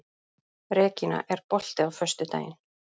Regína, er bolti á föstudaginn?